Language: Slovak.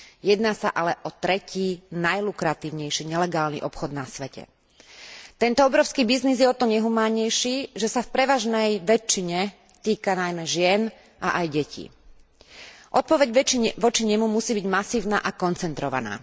Ide ale o tretí najlukratívnejší nelegálny obchod na svete. Tento obrovský biznis je o to nehumánnejší, že sa v prevažnej väčšine týka najmä žien, a aj detí. Odpoveď voči nemu musí byť masívna a koncentrovaná.